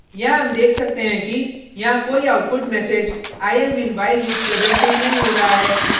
यहाँ हम देख सकते हैं कि यहाँ कोई output message i am in while loop प्रदर्शित नहीं हो रहा है